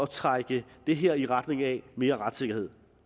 trække det her i retning af mere retssikkerhed